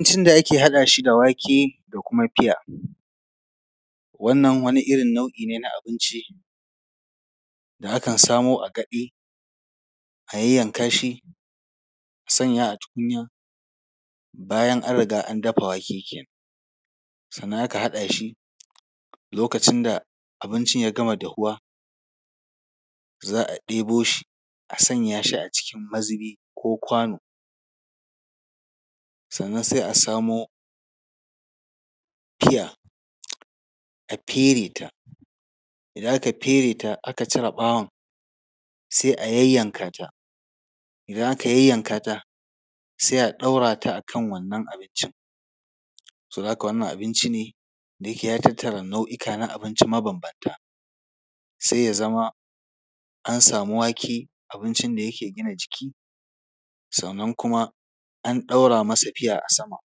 Abincin da ake haɗa shi da wake da kuma piya, wannan wani irin nau’i ne na abinci, da akan samo a gaɗe, a yayyanka shi, a sanya a tukunya, bayan an riga an dafa wake kenan, sannan ka haɗa shi lokacin da abincin ya gama dahuwa,, za a ɗebo shi a zuba shi a cikin mazubi ko kwano, sannan sai a samo piya, a fere ta. Idan aka fere ta, aka cire ɓawon, sai a yayyanka ta, idan aka yayyanka ta, sai a ɗora ta a kan wannan abincin. Saboda haka wannan abinci ne, da yake ya tattara nau’ika na abinci mabambanta, sai ya zama an samu wake, abincin da yake gina jiki, sannan kuma an ɗaura masa piya a sama,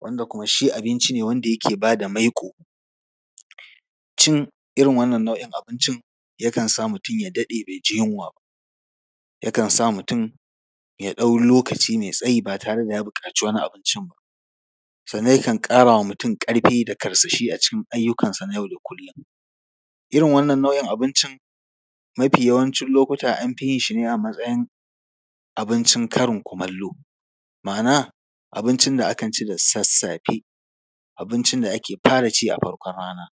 wanda kuma shi abinci ne wanda yake ba da maiƙo. Cin irin wannan nau’in abincin, yakan sa mutum ya daɗe bai ji yunwa ba. Yakan sa mutum ya ɗau lokaci mai tsayi ba tare da ya buƙaci wani abincin ba. Sannan yakan ƙara wa mutum ƙarfi da karsashi a cikin ayyukansa na yau da kullum. Irin wannan nau’in abincin, mafi yawancin lokuta, an fi yin shi ne a matsayin abincin karin kumallo, ma’ana, abincin da akan ci da sassafe, abincin da ake fara ci a farkon rana.